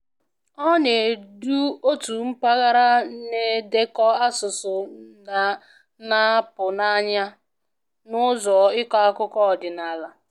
Ọ na-edu otu mpaghara na-edekọ asụsụ na-apụ n'anya na ụzọ ịkọ akụkọ ọdịnala